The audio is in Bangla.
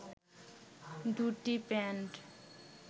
দুটি প্যান্ট